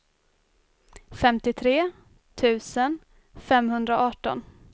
femtiotre tusen femhundraarton